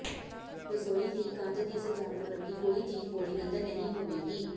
ਰਸੋਈ ਲਈ ਕੰਧ ਦੀ ਸਜਾਵਟ ਵਰਗੀ ਕੋਈ ਚੀਜ਼ ਬੋਰਿੰਗ ਅੰਦਰ ਨਹੀਂ ਹੋਵੇਗੀ